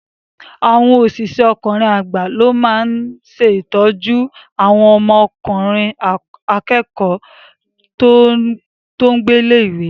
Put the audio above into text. Àwọn osise ọkùnrin agba ló máa n se ìtọ́jú àwọn ọmọkùnrin akẹ́kọ̀ọ́ tó n gbé ilé-ìwé